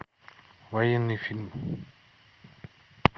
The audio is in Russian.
военный фильм